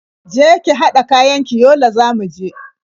Je ki haɗa kayan ki, Yola za mu je.